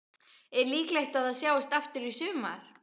Er líklegt að það sjáist aftur í sumar?